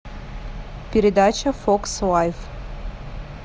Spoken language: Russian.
передача фокс лайф